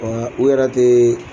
u yɛrɛ teee